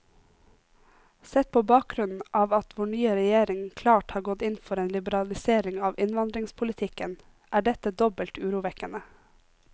Sett på bakgrunn av at vår nye regjering klart har gått inn for en liberalisering av innvandringspolitikken, er dette dobbelt urovekkende.